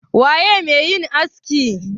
waye me yin askin?